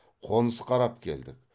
қоныс қарап келдік